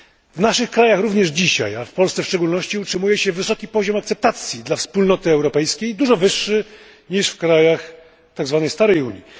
W naszych krajach również dzisiaj, a w Polsce w szczególności, utrzymuje się wysoki poziom akceptacji dla Unii Europejskiej, dużo wyższy niż w państwach starej Unii.